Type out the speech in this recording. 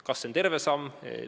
Kas see on terve samm?